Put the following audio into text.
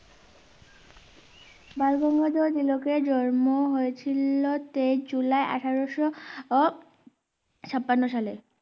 বালগঙ্গাধর তিলকের জন্ম হয়েছিল তেইশ জুলাই আঠারোশো ছাপান্ন সালে